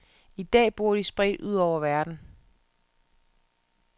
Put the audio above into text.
I dag bor de spredt ud over verden.